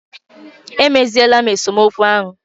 E meziele m esemokwu ahụ.